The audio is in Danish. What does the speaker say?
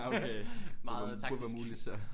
Meget taktisk